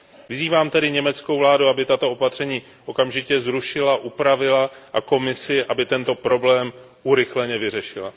Vyzývám tedy německou vládu, aby tato opatření okamžitě zrušila, upravila a Komisi, aby tento problém urychleně vyřešila.